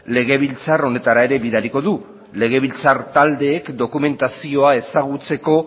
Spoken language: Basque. legebiltzar honetara ere bidaliko du legebiltzar taldeek dokumentazioa ezagutzeko